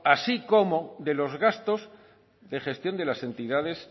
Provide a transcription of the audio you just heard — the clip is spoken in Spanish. así como de los gastos de gestión de las entidades